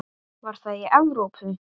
Var það í Evrópu?